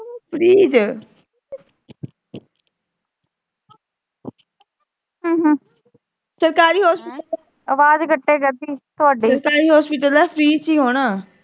ਸਰਕਾਰੀ ਹੌਸਪਿਟਲ ਸਰਕਾਰੀ ਹੌਸਪਿਟਲ ਆ, ਫਰੀ ਚ ਹੀ ਹੋਣਾ।